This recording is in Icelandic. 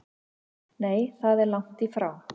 Nei það er lagt í frá